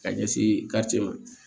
Ka ɲɛsin garijɛ ma